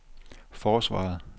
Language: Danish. forsvaret